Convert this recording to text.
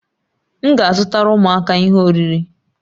M ga-azụtara ụmụaka ihe oriri